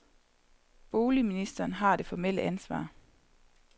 Boligministeren har det formelle ansvar.